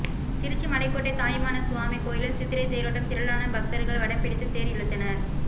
திருச்சி மலைக்கோட்டை தாயுமானசுவாமி கோயிலில் சித்திரை தேரோட்டம் திரளான பக்தர்கள் வடம்பிடித்து ேதர் இழுத்தனர்